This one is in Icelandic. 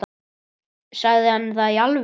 Sagði hann það í alvöru?